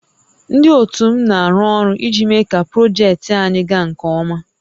Ndị ótù m na-arụ ọrụ iji méé kà projektị anyị gaa nkè ọma